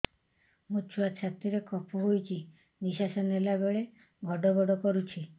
ମୋ ଛୁଆ ଛାତି ରେ କଫ ହୋଇଛି ନିଶ୍ୱାସ ନେଲା ବେଳେ ଘଡ ଘଡ କରୁଛି